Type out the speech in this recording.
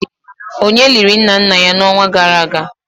onye liri nna nna ya n'ọnwa gara aga